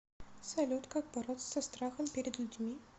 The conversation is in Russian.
салют как бороться со страхом перед людьми